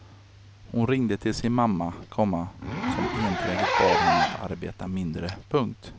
Hon ringde till sin mamma, komma som enträget bad henne att arbeta mindre. punkt